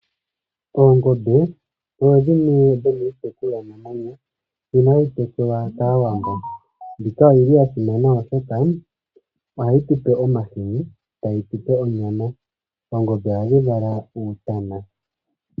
Oongombe odho dhimwe dhomiitekulwa namwenyo mbyono hayi tekulwa kAawambo. Mbika oyi li ya simana, oshoka ohayi tu pe omahini, tayi tu pe onyama. Oongombe ohadhi vala uutana.